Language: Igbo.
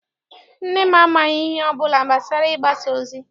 Nne m amaghị ihe ọbụla gbasara Ịgbasa ozi.